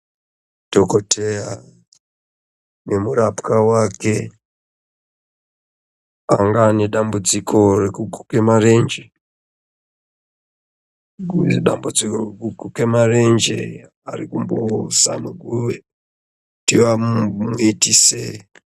Dhokodheya nemurapwa wake anga ane dambudziko rekuguke marenje dambudziko rekuguke varikumbozama kutu vamuitise....